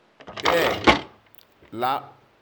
bẹ́ẹ̀ lá